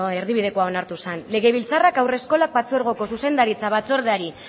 erdibideko onartu zen legebiltzarrak haurreskolak partzuergoko zuzendaritza batzordeari